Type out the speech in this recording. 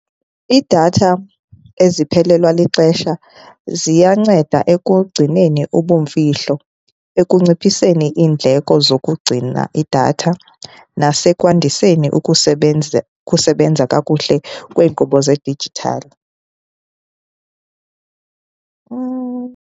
Iidatha eziphelelwa lixesha ziyanceda ekugcineni ubumfihlo, ekunciphiseni iindleko zokugcina idatha, nasekwandiseni ukusebenza kakuhle kweenkqubo zedijithali .